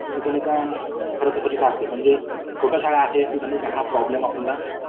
तिथे नाही का खरं स्वच्छता असते . छोट्या शाळा आहेत ना तिथे हा प्रॉब्लेम आपल्याला